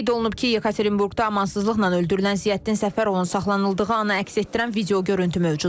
Qeyd olunub ki, Yekaterinburqda amansızlıqla öldürülən Ziyəddin Səfərovun saxlanıldığı ana əks etdirən video görüntü mövcuddur.